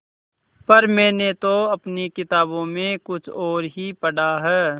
पर मैंने तो अपनी किताबों में कुछ और ही पढ़ा है